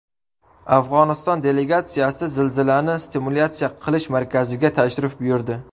Afg‘oniston delegatsiyasi zilzilani simulyatsiya qilish markaziga tashrif buyurdi.